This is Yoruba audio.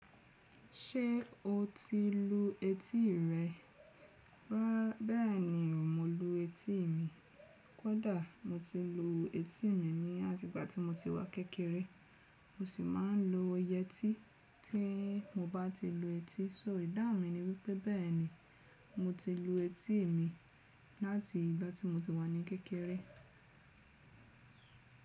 Ṣé o ti lu eti rẹ? Bẹ́ẹ̀ni, mo lu eti mi. Kọ́dà mo ti lu eti mi ní àti igba ti mo ti wà kékeré, mo sì máa ń lo iyẹ́tí tí mo bá ti lu eti. So ìdá wun mi ni wí pé bẹ́ẹ̀ni, mo ti lu eti mi láti ìgbà tí mo ti wà ní kékeré.